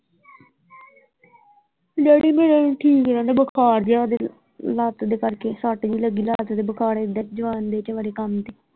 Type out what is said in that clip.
Daddy ਮੇਰੇ ਵੀ ਠੀਕ ਨਹੀਂ ਰਹਿੰਦੇ ਬੁਖਾਰ ਜਿਹਾ ਲੱਤ ਦੇ ਕਰਕੇ ਸੱਤ ਜਿਹੀ ਲੱਗੀ ਲੱਤ ਤੇ ਬੁਖਾਰ ਏਧਰ ਕੰਮ ਸੀ।